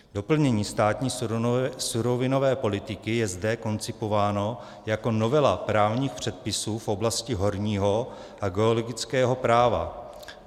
Doplnění státní surovinové politiky je zde koncipováno jako novela právních předpisů v oblasti horního a geologického práva.